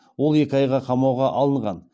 ол екі айға қамауға алынған